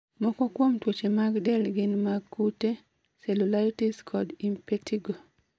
moko kuom tuoche mag del gin mag kute: Cellulitis kod impetigo